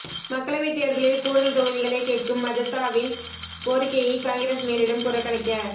மக்களவைத் தேர்தலில் கூடுதல் தொகுதிகளைக் கேட்கும் மஜதவின் கோரிக்கையை காங்கிரஸ் மேலிடம் புறக்கணிக்க